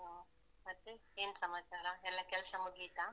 ಹ. ಮತ್ತೆ? ಏನ್ ಸಮಾಚಾರ? ಎಲ್ಲಾ ಕೆಲ್ಸ ಮುಗಿತಾ?